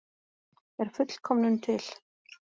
Er fullkomnun til?